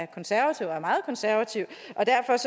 konservativ og meget konservativ